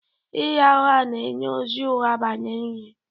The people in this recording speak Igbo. Ịgha ụgha na-enye ozi ụgha banyere ihe